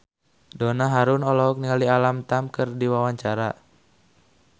Donna Harun olohok ningali Alam Tam keur diwawancara